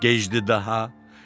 Gecdi daha.